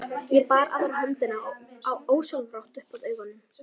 Ég bar aðra höndina ósjálfrátt upp að augunum.